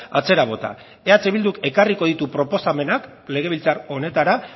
atzera bota eh bilduk ekarriko ditu proposamenak legebiltzar honetara